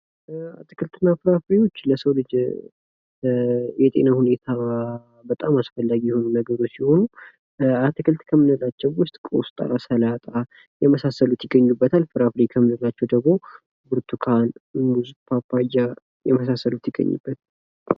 አትክልትና ፍራፍሬዎች ለሰው ልጅ የጤና ሁኔታ በጣም አስፈላጊ የሆኑ ነገሮች ሲሆኑ አትክልት ከምንላቸው ውስጥ ቆስጣ ፣ ሰላጣ የመሳሰሉት ይገኙበታል ። ፍራፍሬ ከምንላቸው ደግሞ ብርቱካን ፣ ሙዝ ፣ ፓፓያ የመሳሰሉት ይገኙበታል ።